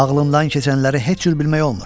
Ağlından keçənləri heç cür bilmək olmur.